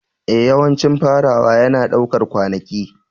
Ee, yawancin farawa yana ɗaukar kwanaki.